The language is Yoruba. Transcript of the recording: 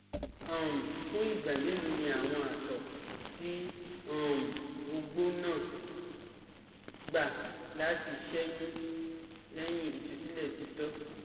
um Fun igba melo ni awọn àtọ ti um ogbo naa um gba lati ṣeyun lẹhin itusilẹ titọ?